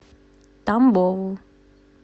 тамбову